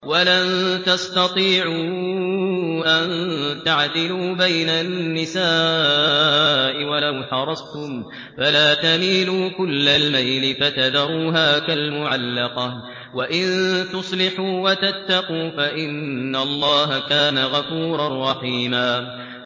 وَلَن تَسْتَطِيعُوا أَن تَعْدِلُوا بَيْنَ النِّسَاءِ وَلَوْ حَرَصْتُمْ ۖ فَلَا تَمِيلُوا كُلَّ الْمَيْلِ فَتَذَرُوهَا كَالْمُعَلَّقَةِ ۚ وَإِن تُصْلِحُوا وَتَتَّقُوا فَإِنَّ اللَّهَ كَانَ غَفُورًا رَّحِيمًا